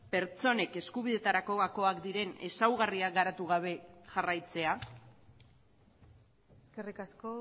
pertsonek eskubideetarako gakoak diren ezaugarriak garatu gabe jarraitzea eskerrik asko